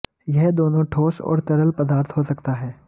यह दोनों ठोस और तरल पदार्थ हो सकता है